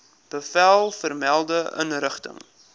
bevel vermelde inrigting